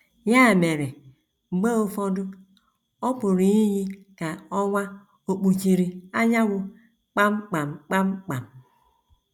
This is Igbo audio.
Ya mere, mgbe ụfọdụ, ọ pụrụ iyi ka ọnwa ò kpuchiri anyanwụ kpam kpam kpam kpam.